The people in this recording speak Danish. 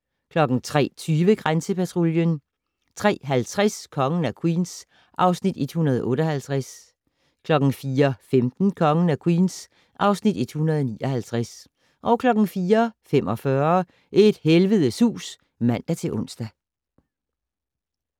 03:20: Grænsepatruljen 03:50: Kongen af Queens (Afs. 158) 04:15: Kongen af Queens (Afs. 159) 04:45: Et helvedes hus (man-ons)